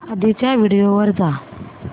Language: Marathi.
आधीच्या व्हिडिओ वर जा